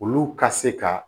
Olu ka se ka